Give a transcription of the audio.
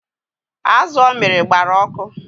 Azu o miri gbara ọkụ